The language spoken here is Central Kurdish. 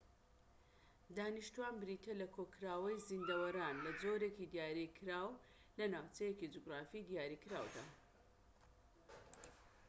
دانیشتوان بریتیە لە کۆکراوەی زیندەوەران لە جۆرێکی دیاریکراو لە ناوچەیەکی جوگرافی دیاریکراودا